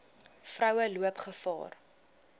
vroue loop gevaar